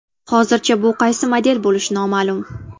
Hozircha bu qaysi model bo‘lishi noma’lum.